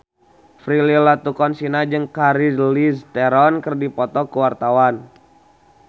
Prilly Latuconsina jeung Charlize Theron keur dipoto ku wartawan